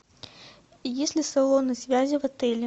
есть ли салоны связи в отеле